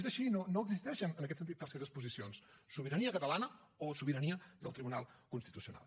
és així no existeixen en aquest sentit terceres posicions sobirania catalana o sobirania del tribunal constitucional